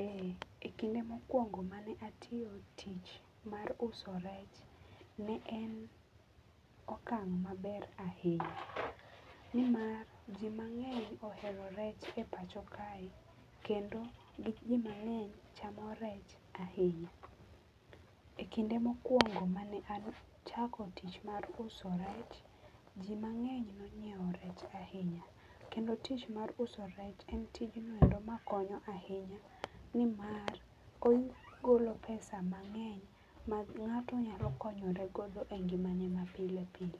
Eeeh, e kinde mokuongo mane atiyo tich mar uso rech ne en okang maber ahinya nimar jii mangeny ohero rech e pacho kae kendo jii mangeny chamo rech ahinya. E kinde mokuongo mane achako tich mar uso rech, jii mangeny nonyiew rech ahinya. Kendo tich mar uso rech en tijno endo makonyo ahinya nimar ogolo pesa mangeny ma ngato nyalo konyor egodo e ngimane ma pile pile.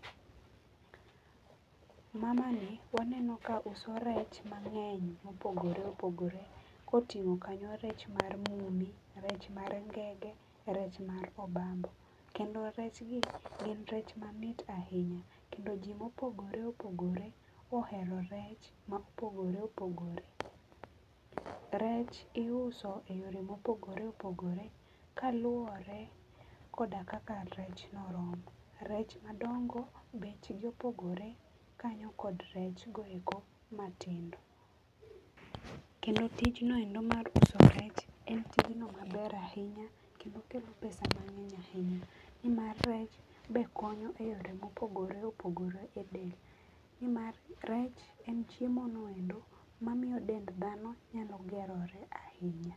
Mamani waneno ka uso rech ma ngeny ma opogore opogore kotingo kanyo rech mar mumi, rech mar ngege ,rech mar obambo, Kendo rech gi gin rech mamit ahinya kendo jii ma opogore opogore ohero rech ma opogore opogore. Rech iuso e yore ma opogore opogore kaluore koda kaka rech no rom. Rech madongo bechgi opogore kanyo kod rech goeko matindo .Kendo tijno endo mar uso rech en tijno maber ahinya kendo kelo pesa mangeny ahinya, nimar rech be konyo e yore mopogore opogore e del nimar rech en chiemo noendo mamiyo dend dhano nyalo gerore ahinya